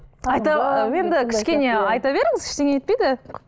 енді кішкене айта беріңіз ештеңе етпейді